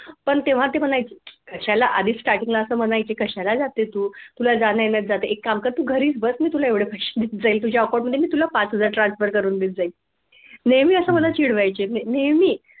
पण तेव्हा ते म्हणायचे कशाला आदी starting ला अस म्हणायचे कशाला जाते तू तुला जाण्या जातं एक काम कर तू घरीच बस मी तुला एवढे पैसे देत जाईल तुझ्या account मध्ये मी तुला पाच हजार transfer करून देत जाईल नेहमी अस मला चिडवायचे नेहमी